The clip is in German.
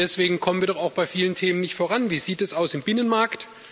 Deswegen kommen wir doch auch bei vielen Themen nicht voran. Wie sieht es aus im Binnenmarkt?